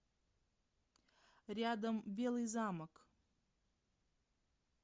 рядом белый замок